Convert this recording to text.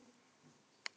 Kannski einn daginn.